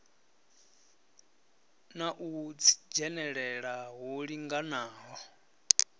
na u dzhenelela hu linganaho